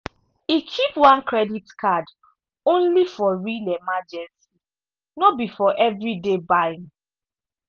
e keep one credit card only for real emergency no be for everyday buying.